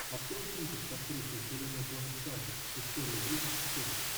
открой кинчик с актрисой хеленой бонем картер история игрушек четыре